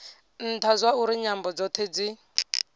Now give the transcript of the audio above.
ntha zwauri nyambo dzothe dzi